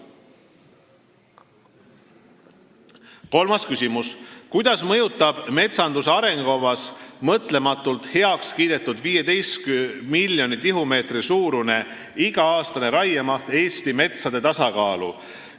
Kolmas küsimus: "Kuidas mõjutab metsanduse arengukavas mõtlematult heaks kiidetud 15 miljoni tihumeetri suurune iga-aastane raiemaht Eesti metsade tasakaalu?